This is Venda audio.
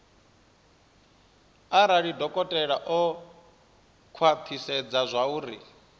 arali dokotela o khwathisedza zwauri